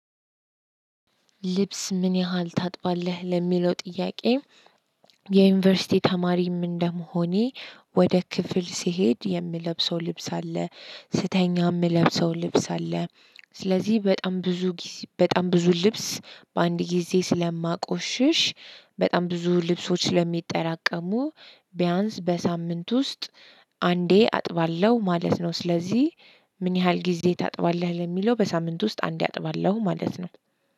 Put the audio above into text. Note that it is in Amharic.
ልብስ ምን ያህል ታጥባለህ ለሚለው ጥያቄ? የዩንቨርሲቲ ተማሪም እንደመሆኔ ወደ ክፍል ስሄድ የምለብሰው ልብስ አለ ስተኛ ምለብሰው ልብስ አለ። ስለዚህ በጣም ብዙ ጊዝ በጣም ብዙ ልብስ በአንድ ጊዜ ስለማቆሽሽ በጣም ብዙ ልብሶች ስለሚጠራቀሙ ቢያንስ በሳምንት ውስጥ አንዴ አጥባለሁ ማለት ነው። ስለዚህ ምን ያህል ጊዜ ታጥባለህ? ለሚለው በሳምንት ውስጥ አንዴ አጥባለሁ ማለት ነው።